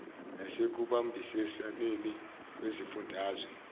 nase kubambisaneni kwezifundazwe